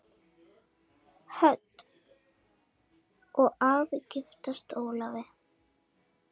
Hödd: Og giftast Ólafi?